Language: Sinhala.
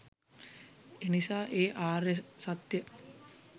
එනිසා ඒ ආර්ය සත්‍ය